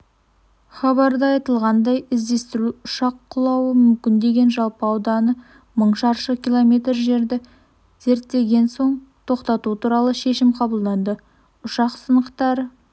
хабарда айтылғандай іздестіру ұшақ құлауы мүмкін деген жалпы ауданы мың шаршы км жерді зерттеген соң тоқтату туралы шешім қабылданды ұшақ сынықтары